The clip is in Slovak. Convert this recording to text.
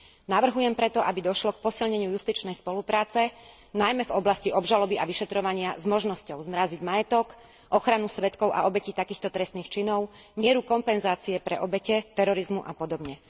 Navrhujem preto, aby došlo k posilneniu justičnej spolupráce, najmä v oblasti obžaloby a vyšetrovania s možnosťou zmraziť majetok, ochranu svedkov a obetí takýchto trestných činov, mieru kompenzácie pre obete terorizmu a podobne.